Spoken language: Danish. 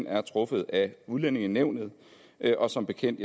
er truffet af udlændingenævnet og som bekendt